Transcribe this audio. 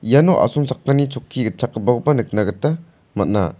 iano asongchakni chokki gitchamgipakoba nikna gita man·a.